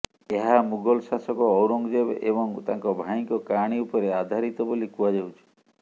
ଏହା ମୁଗଲ ଶାସକ ଔରଙ୍ଗଜେବ୍ ଏବଂ ତାଙ୍କ ଭାଇଙ୍କ କାହାଣୀ ଉପରେ ଆଧାରିତ ବୋଲି କୁହାଯାଉଛି